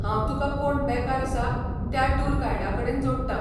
हांव तुका कोण बेकार आसा त्या टूर गायडाकडेन जोडटां.